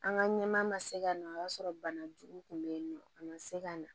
An ka ɲɛmaa ma se ka na o y'a sɔrɔ banajugu kun bɛ yen nɔ a ma se ka na